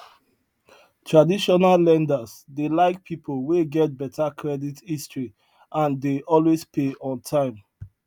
traditional lenders dey like people wey get better credit history and dey always pay on time